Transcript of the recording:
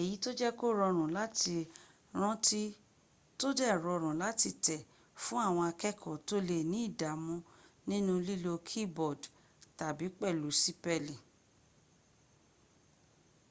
èyí tó jẹ́ kó rọrùn láti rántí tó dẹ̀ rọrùn láti tẹ̀ fún àwọn akẹ́kọ̀ọ́ tó lé ní ìdàmú nínu lílo keyboard tàbí pẹ̀lú sípẹ̀lì